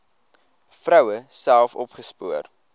vroue self opgespoor